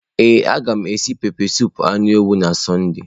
Ee, a ga m esi pepesụpụ anụ ewu na Sọnde.